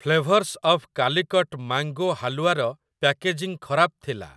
Flavours of Calicut mango halwa ର packaging ଖରାପ ଥିଲା ।